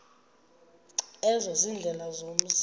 ezo ziindlela zomzi